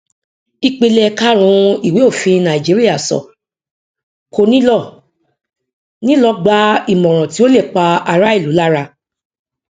ìpìlẹ karùnún ìwé òfin nàìjíríà sọ kò ní lọ ní lọ gbà ìmọràn tí ó lè pa ará ìlú lára